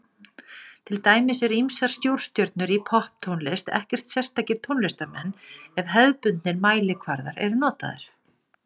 Til dæmis eru ýmsar stórstjörnur í popptónlist ekkert sérstakir tónlistarmenn ef hefðbundnir mælikvarðar eru notaðir.